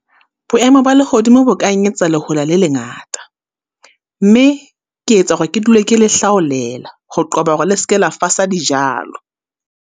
Boemo ba lehodimo bo ka eketsetsa lehola le lengata. Mme ke etsa hore ke dule ke le hlaolela, ho qoba hore le ske la fasa dijalo.